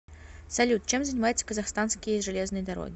салют чем занимается казахстанские железные дороги